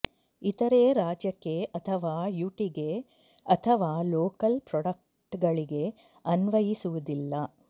ಇತರೆ ರಾಜ್ಯಕ್ಕೆ ಅಥವಾ ಯುಟಿಗೆ ಅಥವಾ ಲೋಕಲ್ ಪ್ರೊಡಕ್ಟ್ ಗಳಿಗೆ ಅನ್ವಯಿಸುವುದಿಲ್ಲ